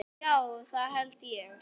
Ó, já, það held ég.